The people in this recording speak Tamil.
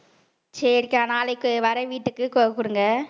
சரிக்கா நாளைக்கு வரேன் வீட்டுக்கு